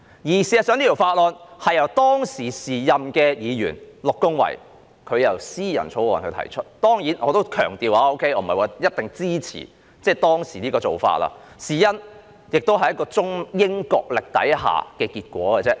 事實上，這項法案是由時任議員陸恭蕙提出的私人草案，當然，我要強調這不等於我一定支持當時的做法，因為這亦只是一個在中英角力下的結果。